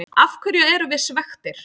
Af hverju erum við svekktir?